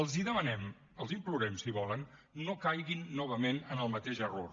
els ho demanem els ho implorem si volen no caiguin novament en el mateix error